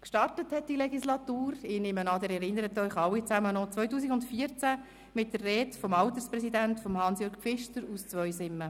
Angefangen hat diese Legislatur 2014 – ich nehme an, Sie erinnern sich daran – mit der Rede des Alterspräsidenten Hans-Jörg Pfister aus Zweisimmen.